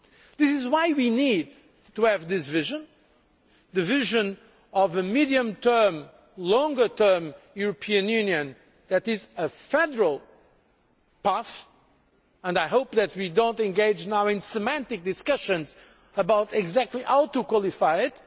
This is why we need to have this vision, the vision of a medium term, longer term, European Union that is a federal path and I hope that we will not engage now in semantic discussions about how exactly to qualify it.